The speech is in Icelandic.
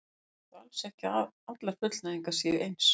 Þetta þýðir þó alls ekki að allar fullnægingar séu eins.